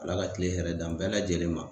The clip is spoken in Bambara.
Ala ka kile hɛrɛ d'an bɛɛ lajɛlen ma.